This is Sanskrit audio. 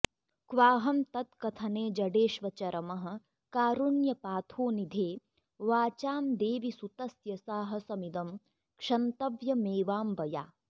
क्वाहं तत्कथने जडेष्वचरमः कारुण्यपाथोनिधे वाचां देवि सुतस्य साहसमिदं क्षन्तव्यमेवाम्बया